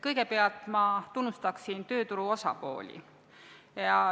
Kõigepealt ma tunnustaksin tööturu osapooli.